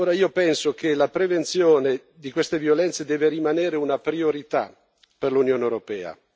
Io penso che la prevenzione di queste violenze debba rimanere una priorità per l'Unione europea.